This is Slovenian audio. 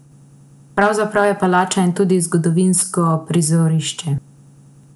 Pravzaprav je palača in tudi zgodovinsko prizorišče.